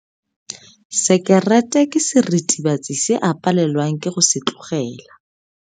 Sekerete ke seritibatsi se a palelwang ke go se tlogela.